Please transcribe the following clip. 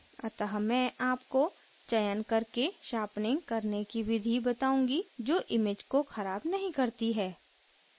अतः मैं आपको चयन करके sharpening करने की विधि बताउंगी जो image को ख़राब नहीं करती है